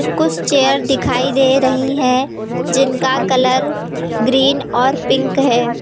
कुछ चेयर दिखाई दे रही है जिनका कलर ग्रीन और पिंक है।